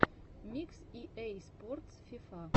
микс и эй спортс фифа